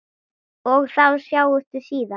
Og þá sjáumst við síðar!